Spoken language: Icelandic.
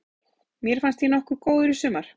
Mér fannst ég nokkuð góður í sumar.